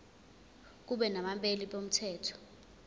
kube nabameli bomthetho